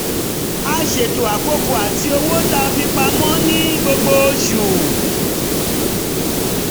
a ṣètò àkókò ati owó tá a fi pamọ́ ní gbogbo oṣù